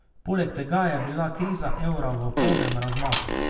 Poleg tega je bila kriza evra v polnem razmahu.